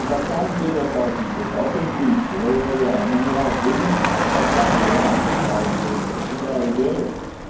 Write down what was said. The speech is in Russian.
на самом деле это очень круто это интуиция я ей доверяю меня не раз в жизни спасала реально спасала интуиция всегда ей верю